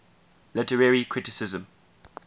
literary criticism